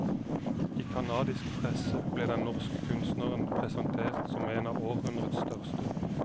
I canadisk presse blir den norske kunstneren presentert som en av århundrets største.